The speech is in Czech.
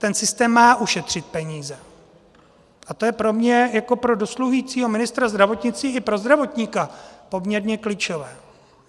Ten systém má ušetřit peníze a to je pro mě jako pro dosluhujícího ministra zdravotnictví i pro zdravotníka poměrně klíčové.